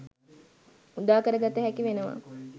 උදාකර ගත හැකි වෙනවා.